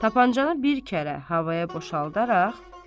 Tapancanı bir kərə havaya boşaldaraq.